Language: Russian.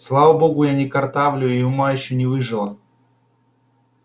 слава богу я не картавлю и ума ещё не выжила